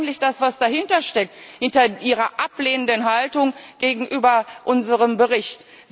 Das ist doch eigentlich das, was dahinter steckt, hinter Ihrer ablehnenden Haltung gegenüber unserem Bericht.